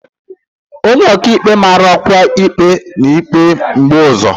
onye ọka ikpe mara ọkwa ikpe na ikpe mgbe ụzọ.